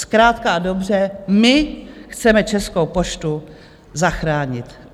Zkrátka a dobře, my chceme Českou poštu zachránit.